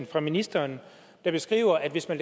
fra ministeren der beskriver at hvis man